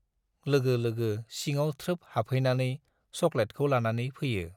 लोगो लोगो सिङाव थ्रोब हाबहैनानै सक'लेटखौ लानानै फैयो।